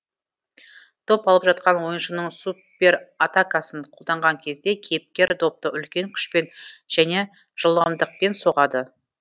доп алып жатқан ойыншының суператакасын қолданған кезде кейіпкер допты үлкен күшпен және жылдамдықпен соғады